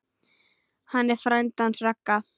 Hann er frændi hans Ragga.